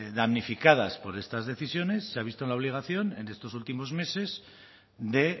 damnificadas por estas decisiones se ha visto en la obligación en estos últimos meses de